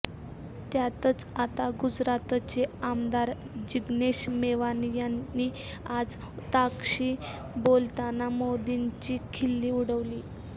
त्यातच आता गुजरातचे आमदार जिग्नेश मेवाणी यांनी आज ताक शी बोलताना मोदींची खिल्ली उडवली